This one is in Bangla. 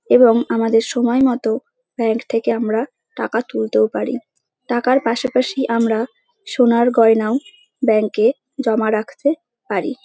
এবং আমাদের সময় মতো ব্যাঙ্ক থেকে আমরা টাকা তুলতেও পারি। টাকার পাশাপাশি আমরা সোনার গয়নাও ব্যাঙ্ক -এ জমা রাখতে পারি ।